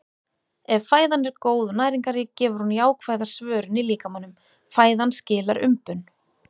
Ef fæðan er góð og næringarrík gefur hún jákvæða svörun í líkamanum- fæðan skilar umbun.